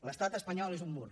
l’estat espanyol és un mur